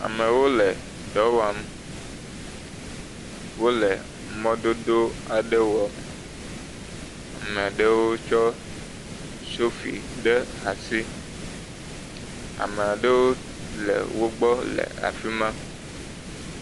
Amewo le dɔ wɔm, wole mɔdodo aɖe wɔm, ame aɖewo kɔ sofi ɖe asi, ame ɖewo le wogbɔ le afima.